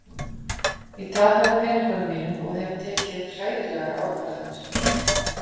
Ég tapaði peningunum mínum og hef tekið hræðilegar ákvarðanir.